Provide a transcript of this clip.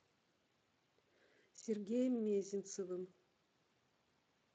сергеем мезенцевым